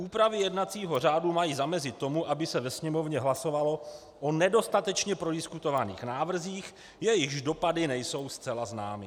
Úpravy jednacího řádu mají zamezit tomu, aby se ve Sněmovně hlasovalo o nedostatečně prodiskutovaných návrzích, jejichž dopady nejsou zcela známy.